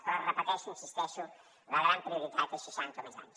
però ho repeteixo hi insisteixo la gran prioritat és seixanta o més anys